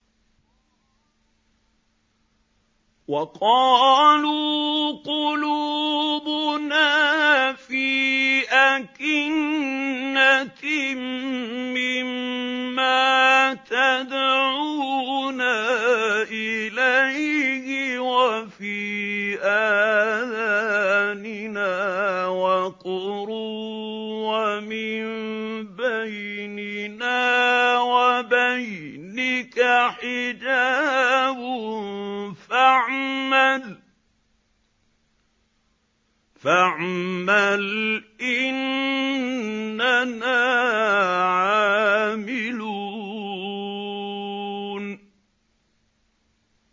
وَقَالُوا قُلُوبُنَا فِي أَكِنَّةٍ مِّمَّا تَدْعُونَا إِلَيْهِ وَفِي آذَانِنَا وَقْرٌ وَمِن بَيْنِنَا وَبَيْنِكَ حِجَابٌ فَاعْمَلْ إِنَّنَا عَامِلُونَ